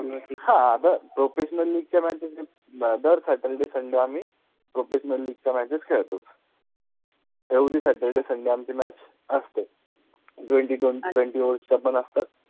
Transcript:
हा अग professionally च्या matches दर saturday sunday आम्हि professionally च्या matches खेळतो, every saturday sunday आमचि match असते, twenty over च्या पन असतात.